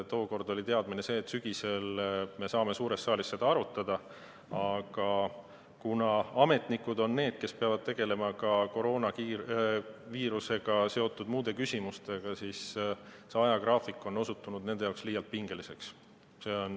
Tookord oli teadmine see, et sügisel me saame suures saalis seda arutada, aga kuna ametnikud on need, kes peavad tegelema ka koroonaviirusega seotud muude küsimustega, siis see ajagraafik on osutunud nende jaoks liialt pingeliseks.